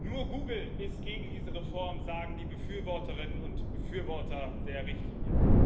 Nur Google ist gegen diese Reform, sagen die Befürworterinnen und Befürworter der Richtlinie.